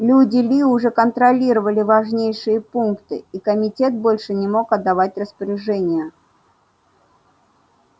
люди ли уже контролировали важнейшие пункты и комитет больше не мог отдавать распоряжения